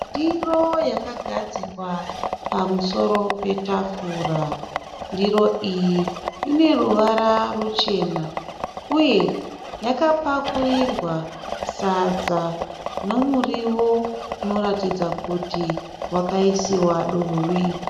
Ndiro yakagadzikwa pamusoro petafura. Ndiro iyi ine ruvara ruchena uye yakapakurirwa sadza nomurio unoratidza kuti wakaisiwa dovi.